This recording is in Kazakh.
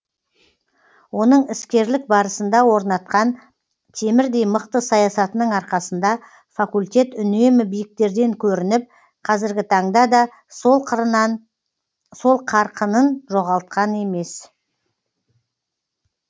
оның іскерлік барысында орнатқан темірдей мықты саясатының арқасында факультет үнемі биіктерден көрініп қазіргі таңда да сол қарқынын жоғалтқан емес